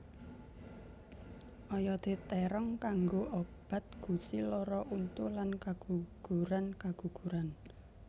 Oyodé térong kanggo obat gusi lara untu lan kagugurankaguguran